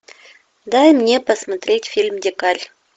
дай мне посмотреть фильм дикарь